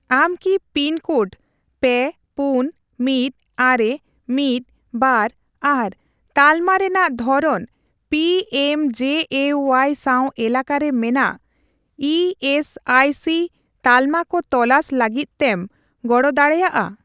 ᱟᱢ ᱠᱤ pin code ᱯᱮ ,ᱯᱩᱱ, ᱢᱤᱴ, ᱟᱨᱮ, ᱢᱤᱛ, ᱵᱟᱨ ᱟᱨ ᱛᱟᱞᱢᱟ ᱨᱮᱱᱟᱜ ᱫᱷᱚᱨᱚᱱ ᱯᱤᱮᱢᱡᱮᱮᱣᱟᱭ ᱥᱟᱣ ᱮᱞᱟᱠᱟᱨᱮ ᱢᱮᱱᱟᱜ ᱤ ᱥᱤ ᱟᱭ ᱥᱤ ᱛᱟᱞᱢᱟ ᱠᱚ ᱛᱚᱞᱟᱥ ᱞᱟᱹᱜᱤᱫ ᱛᱮᱢ ᱜᱚᱲᱚ ᱫᱟᱲᱮᱭᱟᱜᱼᱟ ?